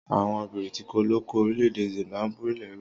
Àwon Brìtìkó lo ko orílẹ̀dẹ̀ Zimbabwe lẹ́rú.